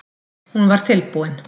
Hún var tilbúin.